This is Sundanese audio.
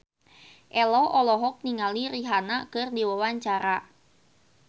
Ello olohok ningali Rihanna keur diwawancara